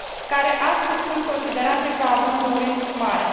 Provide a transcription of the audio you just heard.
care astăzi sunt considerate ca având un risc mare.